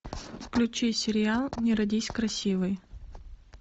включи сериал не родись красивой